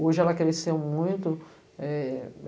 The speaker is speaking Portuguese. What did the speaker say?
Hoje ela cresceu muito.